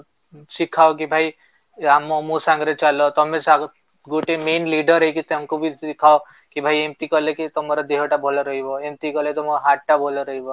ଶିଖାଅ କି ଭାଇ ୟା ମୋ ସାଙ୍ଗରେ ଚାଲ ତମେ ଆଗ ଯୋଉ ଟି main leader ହେଇକି ତାଙ୍କୁ ବି ଶିଖାଅ କି ଭାଇ ଏମିତି କଲେ କି ତମର ଦେହ ଟା ବି ଭଲ ରହିବ ଏମିତି କଲେ ତମ ହାର୍ଟ ଟା ଭଲ